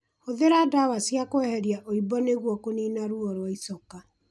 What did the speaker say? Hũthĩra ndawa cia kweheria ũimbo nĩguo kũnina ruo rwa icoka